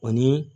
Ani